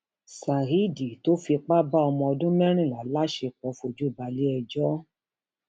saheed tó fipá bá ọmọọdún mẹrìnlá láṣepọ fojú balẹẹjọ